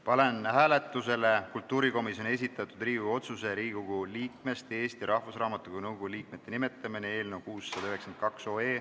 Panen hääletusele kultuurikomisjoni esitatud Riigikogu otsuse "Riigikogu liikmest Eesti Rahvusraamatukogu nõukogu liikmete nimetamine" eelnõu 692.